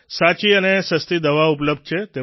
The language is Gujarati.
સાચી અને સસ્તી દવાઓ ઉપલબ્ધ છે